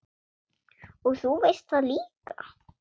Og þú veist það líka.